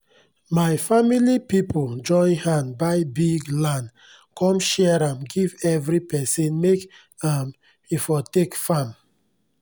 my famili pipu join hand buy biggg land come share am give everi pesin make um e for take farm